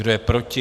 Kdo je proti?